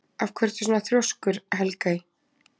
Af hverju ertu svona þrjóskur, Helgey?